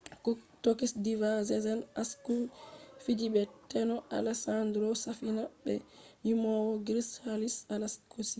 tokish diva sezen aksu fiji be teno alesandro safina be yimowo grik haris aleksio